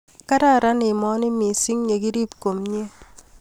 Kararan emoni mising yekirib komye